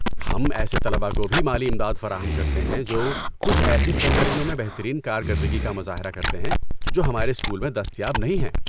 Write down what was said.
ہم ایسے طلبہ کو بھی مالی امداد فراہم کرتے ہیں جو کچھ ایسی سرگرمیوں میں بہترین کارکردگی کا مظاہرہ کرتے ہیں جو ہمارے اسکول میں دستیاب نہیں ہیں۔